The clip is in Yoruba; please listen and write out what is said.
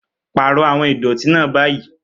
Pààrọ̀ àwọn ìdọ̀tí náà báyìí